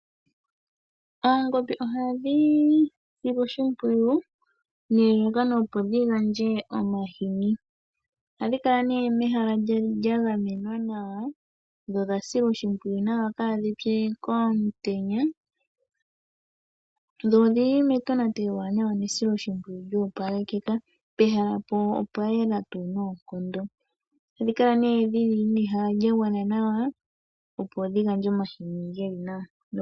Oongombe ohadhi silwa oshimpiyu nelalakano dhi gandje omahini. Ohadhi kala mehala lya gamenwa nawa, dho odha silwa oshimpwiyu kaadhi pye omutenya. Ohadhi kala metonatelo ewanawa nesiloshimpwiyu lyo opalekeka. Pehala ohapu kala pwa yela . Ohadhi kala dhi na ehala lya gwana nawa, opo dhi gandje omahini ge li nawa.